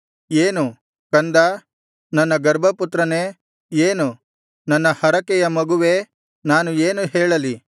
ಏನು ಕಂದಾ ನನ್ನ ಗರ್ಭಪುತ್ರನೇ ಏನು ನನ್ನ ಹರಕೆಯ ಮಗುವೇ ನಾನು ಏನು ಹೇಳಲಿ